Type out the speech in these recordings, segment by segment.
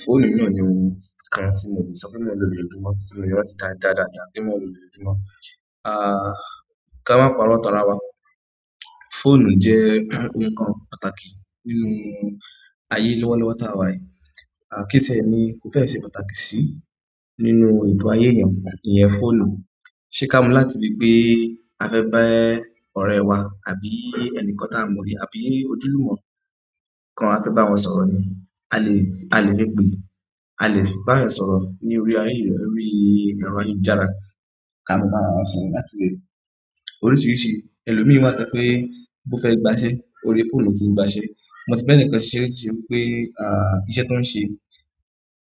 Fóònù yi náà ni oun ti-- kan ti mo le so pe mo n lo ni oojumo ti mo le rántí ka daadaadaa pe mo n lo ni oojumo a ka maa paro tanra wa. Fóònù jẹ́ ohun kan pàtàkì nínú ayé lọ́wọ́lọ́wọ́ tá wà yìí. À kí tiẹ ni ó fẹ́ ṣe pàtàkì sí nínú ètò ayé èèyàn iyẹn, fóònù. Ṣé ká mu láti ibi pé a fẹ́ bá e ọ̀rẹ́ wa àbí ẹni kan tá a mọ rí àbí ojúlùmọ́ kan a fẹ́ bá wọn sọ̀rọ̀ ni. A lè, a lè fe pe, a lè bá eeyan sọ̀rọ̀ ní orí ayé rí, orí ẹro ayelujárá, ká mọ bá ara wa sọ̀rọ̀ láti ibẹ̀. Oríṣìríṣì ẹlòmí wa to ye pé bó fẹ́ gba iṣẹ́, orí fóònù lo tí n gba iṣẹ́. Mo ti ba ẹnìkan siṣé ri, tí ṣe wipé à ìṣe tó ń ṣe,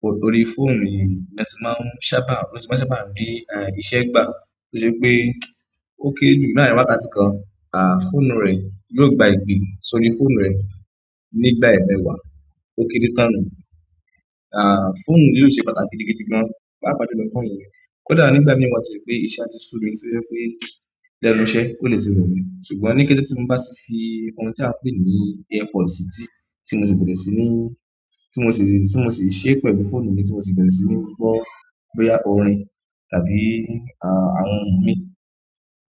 o orí fóònù ni latí máa ń sábà, láti máa ń sábà rí e iṣẹ́ gbà. Ó ṣe ipé ó kére jù laarin wákàtí kan, à fóònù rè yóò gba ìgbín, ṣó orí fóònù rè nígbà ẹemẹ́wá ó kére tán ni. À fóònù lilo ṣe pàtàkì gidi gidi gan. Papà ju ni fóònù ni. Kódà nígbà mì wa to ye pé iṣẹ́ á ti sú mi tí ó yẹ́ pé lẹ́nu iṣẹ́ ò lè tì remí, ṣùgbọ́n ní kẹ́tẹ́ẹ́ tí mò bá ti fi ohun tí a ń pè ní earpod sí ti, tí mò ṣì bẹ̀rẹ̀ sí ní, tí mò ṣì, tí mò ṣì ṣẹ́ pẹ̀lú fóònù mi tí mò ṣì bẹ̀rẹ̀ sí ní gbọ́ bóyá orin tàbí à àwọn ọ̀hun mí,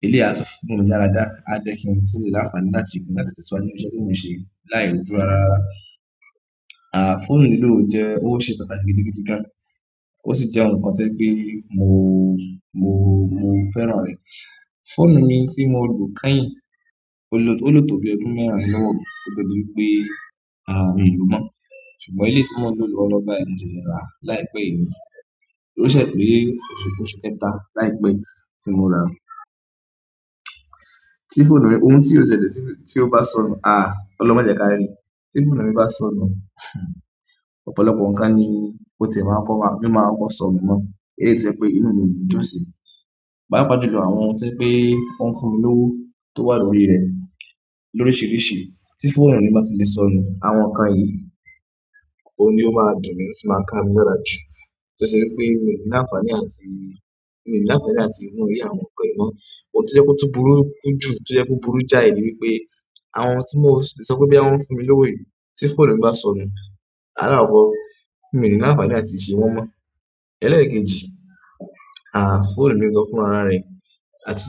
eléyi à tun f--mu mi lára dáa, á jẹ́ kí ohun tí mo láǹfààní láti gùn láti tẹ̀síwájú ní iṣẹ́ tí mò ń ṣe láì ro jú rara rara. À fóònù eleyii ò jẹ́, ó ṣe pàtàkì gidi gidi gan, ó sì jẹ́ ohun kan to ye pé mò mò mò ń fẹ́ràn rè. Fóònù mi tí mò lù kányìn, ó lò tó, o lo to bí ọdún mẹ́rin lọ́wọ́ mi, kó tie di wipé à mi lò mọ́. Ṣùgbọ́n eléyìí tí mò ń lò lọ́wọ́lọ́wọ́ báyìí mò ṣiṣẹ́ rà láìpẹ́ yí ni, ò ṣẹ̀ pé oṣù oṣù kẹta láìpẹ́ yi tí mò ra. Tí fóònù mi, ohun tí ò ṣẹ́lẹ tí, tí ó bá sọnù, à Ọlọ́hun máa jẹ́ ká rí. Tí fóònù mi bá ti sọnù, ọ̀pọ̀lọpọ̀ ǹnkan ni ò tiẹ̀ maa kó máa, ni máa kọ ko sọ̀nu náà, èleyií to ye pé inú mi ò ni dùn sí. Pápà ju lo àwọn ohun to ye pé ó ń fún mi lówó tó wà lórí rẹ̀ lóríṣíríṣì, tí fóònù mi bá fi lè sọnù, àwọn ǹnkan yìí oun ni ó máa dùn mí, ó sì máa ká mí lára jù. Ó ṣe i pé mì ní àǹfààní àti, mì ní làǹfààní àti wò orí àwọn nǹkan yìí mọ́. Ohun tí o ye kó tun burú ki jù, tí o yẹ́ kó burú jáì ni wipé àwọn oun tí mò ṣ-- sọ pé boya wọn ń fún mi lówó yìí tí fóònù mi bá sọnù, alábọ̀ mi ní làǹfààní àti ṣe wọn mọ́. Eleyii ki n sh---, a fóònù mi gan fún ara re àti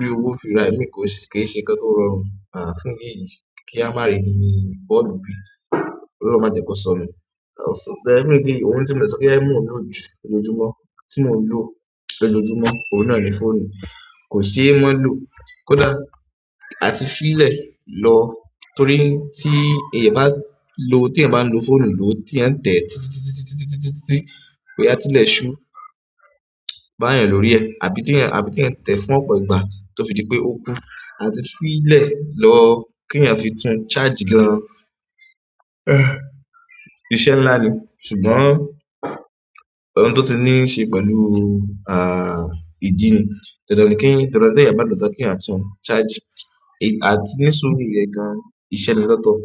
ri owo fi ra emi ko se-- ki n se nǹkan to rọrùn a fún eleyii ki a maa reni mu fóònù mi, ọlọ́run maa je ko sonu so then fún idi èyí ohun tí mò de sọ pé e mò ń lòju lójoojúmọ́, tí mò ń lò lójoojúmọ́, ohun náà ni fóònù. Kò ṣe maa lò. Kódà àti fi lẹ̀ lọ torí tí ẹ̀eyàn bá lò, tí ẹ̀eyàn bá ń lo fóònù lò, tí ẹ̀eyań tẹ̀ tí tí tí tí tí ti ti ti ti ti boya tilẹ̀ ṣú bá èèyàn lórí ẹ àbí tí ẹ̀eyan, àbí tí ẹ̀eyan ń tẹ̀ fún ọ̀pọ̀ ìgbà tó fi dí pé ó kú. À ti fi lẹ̀ lọ kí ẹ̀eyàn fi tún charge gan. Iṣẹ́ ńlá ni ṣùgbọ́n ohun tó ti níṣe pẹ̀lú à ìjìnni, dandáń ní kí dandan ni te eeyan balò tan kí eeyan a tún charge, à ti ní suru yen gan, iṣẹ́ ni lotọ́.